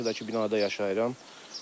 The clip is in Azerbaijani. Qarşıdakı binada yaşayıram.